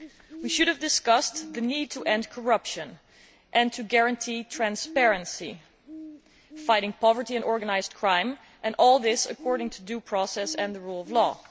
We should have discussed the need to end corruption and to guarantee transparency, fighting poverty and organised crime, and all this according to due process and the rule of law.